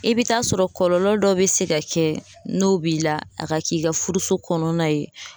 I bi taa sɔrɔ kɔlɔlɔ dɔ be se ka kɛ n'o b'i la a ka k'i ka furuso kɔnɔna ye.